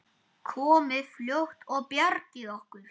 Komið fljótt og bjargið okkur!